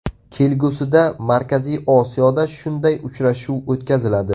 Kelgusida Markaziy Osiyoda shunday uchrashuv o‘tkaziladi.